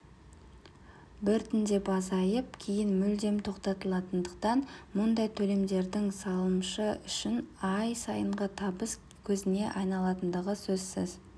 біртіндеп азайып кейін мүлдем тоқтатылатындықтан мұндай төлемдердің салымшы үшін ай сайынғы табыс көзіне айналатындығы сөзсіз